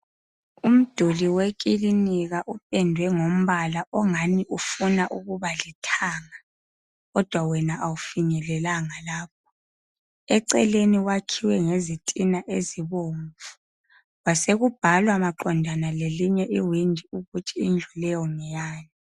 Umduli wekilinika upendwe ngombala ongani ufuna ukuba lithanga, kodwa wena kawufinyelelanga lapho. Eceleni kwakhiwe ngezitina ezibomvu, kwasekubhalwa maqondana lelinye iwindi ukuthi indlu leyo ngeyani.